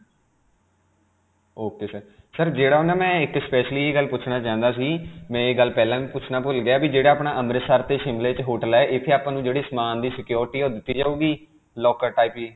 ok sir. sir, ਜਿਹੜਾ ਨਾ ਮੈਂ ਇਕ specially ਇਹ ਗੱਲ ਪੁਛਣਾ ਚਾਹੁੰਦਾ ਸੀ, ਮੈਂ ਇਹ ਗੱਲ ਪਹਿਲਾਂ ਵੀ ਪੁਛਣਾ ਭੁੱਲ ਗਿਆ ਕਿ ਜਿਹੜਾ ਆਪਣਾ ਅੰਮ੍ਰਿਤਸਰ 'ਤੇ Shimla 'ਚ hotel ਹੈ ਇਥੇ ਆਪਾਂ ਨੂੰ ਜਿਹੜੇ ਸਮਾਨ ਦੀ security ਹੈ ਉਹ ਦਿੱਤੀ ਜਾਉਗੀ? locker type ਜੀ.